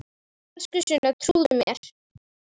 Elsku Sunna, trúðu mér!